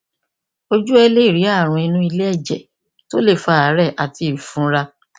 ojú ẹ lè rí àrùn inú iléèjẹ tó lè fa àárè àti ìfunra